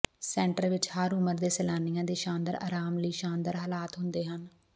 centre ਵਿੱਚ ਹਰ ਉਮਰ ਦੇ ਸੈਲਾਨੀਆਂ ਦੇ ਸ਼ਾਨਦਾਰ ਆਰਾਮ ਲਈ ਸ਼ਾਨਦਾਰ ਹਾਲਾਤ ਹੁੰਦੇ ਹਨ